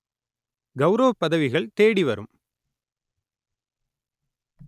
கௌரவப் பதவிகள் தேடி வரும்